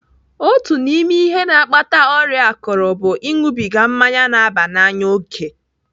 Otu n'ime ihe na-akpata ọrịa akụrụ bụ ịṅụbiga mmanya na-aba n'anya òkè.